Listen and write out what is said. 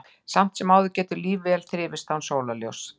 Samt sem áður getur líf vel þrifist án sólarljóss.